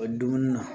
O dumuni na